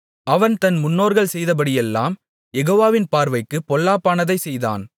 அவன் தன் முன்னோர்கள் செய்தபடியெல்லாம் யெகோவாவின் பார்வைக்குப் பொல்லாப்பானதைச் செய்தான்